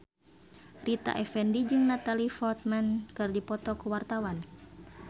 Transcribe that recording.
Rita Effendy jeung Natalie Portman keur dipoto ku wartawan